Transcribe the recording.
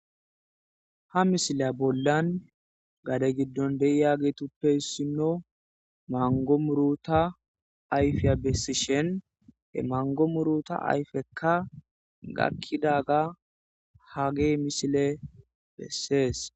ha misila bollan gade giddon deiyageetuppe ssinno mango muruta ayfiya bessishen he mango muruta ayfekka gakkidaga ha ge misile bessees